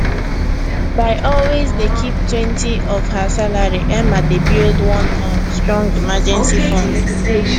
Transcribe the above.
by always dey keeptwentyof her salary emma dey build one um strong emergency fund